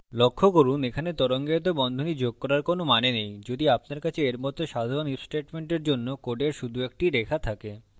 লক্ষ্য করুন এখানে তরঙ্গায়িত বন্ধনী যোগ করার কোনো মানে নেই adding আপনার কাছে এর মত সাধারণ if স্টেটমেন্টের জন্য code শুধু একটি রেখা থাকে